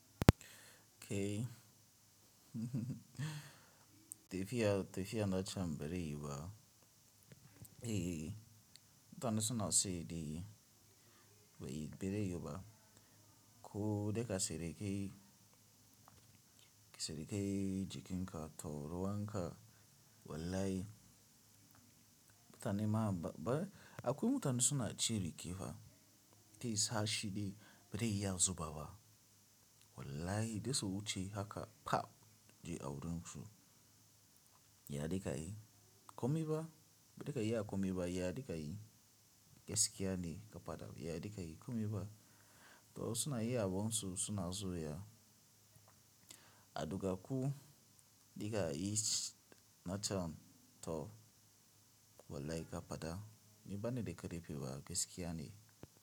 Kai, tafiya tafiya nacan bare yuwuba. Eh, mutane suna saye de, ba yi bare yuwuba. Ko daga surikai, surikai cikin ka to ruwan ka. Wallahi, mutane ma ba, akwai mutane suna cire kiba. Zaisa shi dai, bare iya zubawa. Wallahi, za su wuce haka, pah! Je a wurin su. Ya dinka yi. Komi ba, da kai ya komi ba, ya dika yi. Gaskiya ne, kafada ya dika yi komai ba. Toh, suna yin abun su suna zuwa. A duka ku, dika yichsh, na ta, to wallahi kafada. Ni bani da karfi fa, gaskiya ne.